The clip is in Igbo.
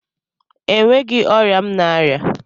Enweghị ọrịa m na-arịa